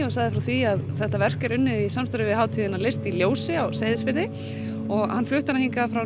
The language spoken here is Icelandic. sagði frá því að þetta verk er unnið í samstarfi hátíðina list í ljósi á Seyðisfirði og hann flutti hana hingað frá